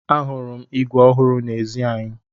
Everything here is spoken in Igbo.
Ahụrụ m ígwè ọhụrụ n'ezi anyị.